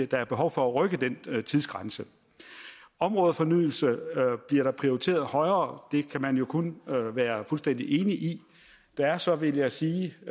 der er behov for at rykke den tidsgrænse områdefornyelse bliver prioriteret højere det kan man jo kun være fuldstændig enig i der er så vil jeg sige